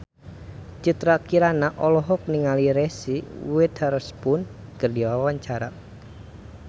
Citra Kirana olohok ningali Reese Witherspoon keur diwawancara